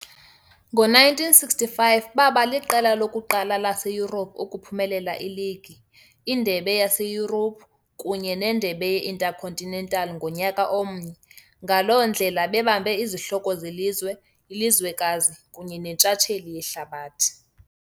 Ngo-1965 baba liqela lokuqala laseYurophu ukuphumelela iligi, iNdebe yaseYurophu kunye neNdebe ye-Intercontinental ngonyaka omnye, ngaloo ndlela bebambe izihloko zelizwe, ilizwekazi kunye nentshatsheli yehlabathi.